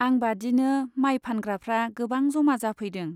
आं बादिनो माय फानग्राफ्रा गोबां जमा जाफैदों।